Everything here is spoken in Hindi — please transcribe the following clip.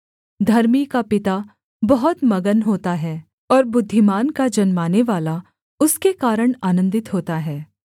धर्मी का पिता बहुत मगन होता है और बुद्धिमान का जन्मानेवाला उसके कारण आनन्दित होता है